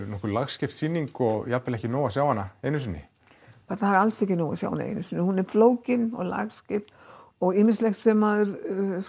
nokkuð lagskipt sýning og jafnvel ekki nóg að sjá hana einu sinni það er alls ekki nóg að sjá hana einu sinni og hún er flókin og lagskipt og ýmislegt sem maður